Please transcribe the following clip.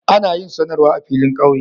Ana yin sanarwa a filin ƙauye.